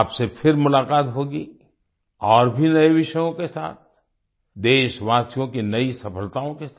आपसे फिर मुलाकात होगी और भी नए विषयों के साथ देशवासियों की नई सफलताओ के साथ